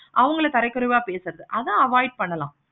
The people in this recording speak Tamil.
அவங்கள தர குறைவா பிடிக்காது. அத avoid பண்றது.